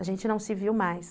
A gente não se viu mais.